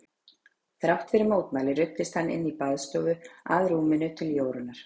Þrátt fyrir mótmæli ruddist hann inn í baðstofu að rúminu til Jórunnar.